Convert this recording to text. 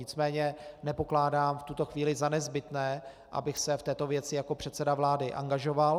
Nicméně nepokládám v tuto chvíli za nezbytné, abych se v této věci jako předseda vlády angažoval.